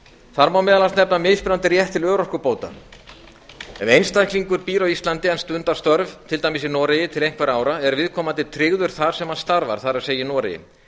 þar má meðal annars nefna mismunandi rétt til örorkubóta ef einstaklingur býr á íslandi en stundar störf til dæmis í noregi til einhverra ára er viðkomandi tryggður þar sem hann starfar það er í noregi